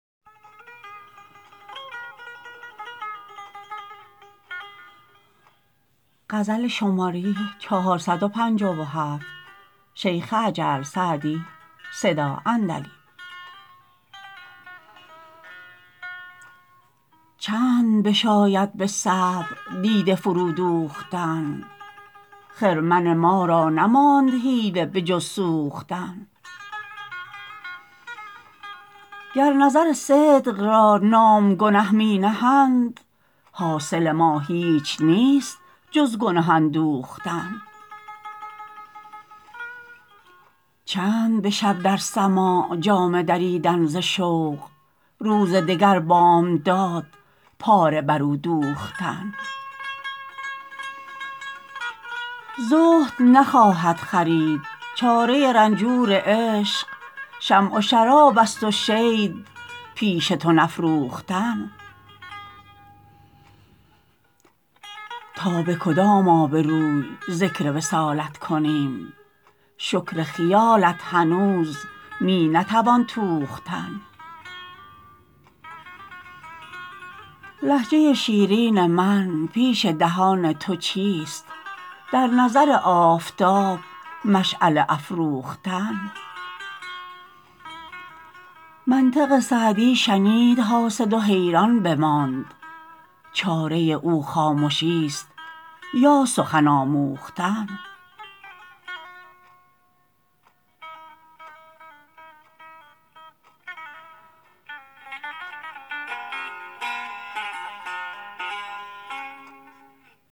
چند بشاید به صبر دیده فرو دوختن خرمن ما را نماند حیله به جز سوختن گر نظر صدق را نام گنه می نهند حاصل ما هیچ نیست جز گنه اندوختن چند به شب در سماع جامه دریدن ز شوق روز دگر بامداد پاره بر او دوختن زهد نخواهد خرید چاره رنجور عشق شمع و شراب است و شید پیش تو نفروختن تا به کدام آبروی ذکر وصالت کنیم شکر خیالت هنوز می نتوان توختن لهجه شیرین من پیش دهان تو چیست در نظر آفتاب مشعله افروختن منطق سعدی شنید حاسد و حیران بماند چاره او خامشیست یا سخن آموختن